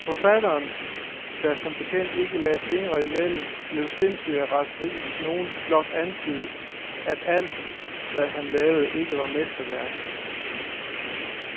Forfatteren, der som bekendt ikke lagde fingrene imellem, blev sindssyg af raseri, hvis nogen blot antydede, at alt, hvad han lavede, ikke var mesterværker.